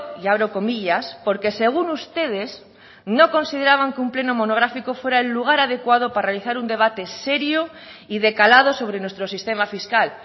y abro comillas porque según ustedes no consideraban que un pleno monográfico fuera el lugar adecuado para realizar un debate serio y de calado sobre nuestro sistema fiscal